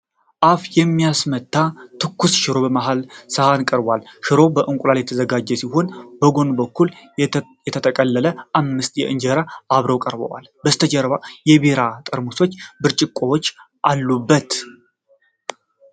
አፍ በሚያስመታ ትኩስ ሽሮ በመሃል ሰሃን ቀርቧል። ሽሮው በእንቁላል የተዘጋጀ ሲሆን፣ በጎን በኩል የተጠቀለሉ አምስት እንጀራዎች አብረው ቀርበዋል። ከበስተጀርባ የቢራ ጠርሙሶችና ብርጭቆዎች አሉበት።